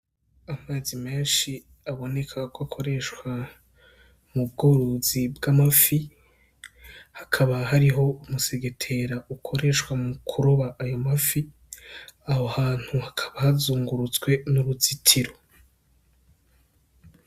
Amazi menshi aboneka ko akoreshwa m’ubworozi bw'amafi hakaba hariho umusegetera ukoreshwa mukuroba ayo mafi aho hantu hakaba hazungurutswe n' uruzitiro.